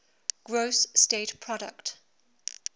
gross state product